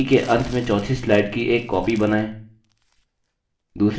प्रस्तुति के अंत में चौथी स्लाइड की एक कॉपी बनाए